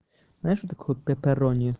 знаешь что такое пепперони